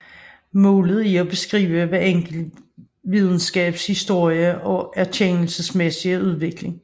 Målet er at beskrive hver enkelt videnskabs historie og erkendelsesmæssige udvikling